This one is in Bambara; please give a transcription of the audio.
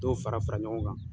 Dɔw fara fara ɲɔgɔn kan.